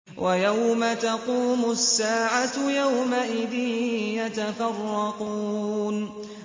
وَيَوْمَ تَقُومُ السَّاعَةُ يَوْمَئِذٍ يَتَفَرَّقُونَ